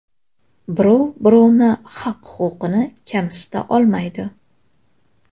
Birov-birovni haq-huquqini kamsita olmaydi.